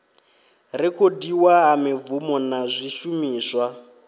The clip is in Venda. rekhodiwa ha mibvumo na zwishumiswa